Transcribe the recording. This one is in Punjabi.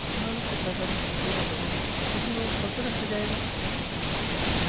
ਤੇ ਉਹਨਾਂ ਨੂੰ ਕਿੱਦਾਂ ਸਾਰੀ ਸੁੱਖ ਸਹੂਲਤਾਂ ਦੇਵੋਂਗੇ ਤੇ ਫਿਰ ਉਹ ਗ਼ਲਤ ਰਾਸਤੇ ਜਾਏਗਾ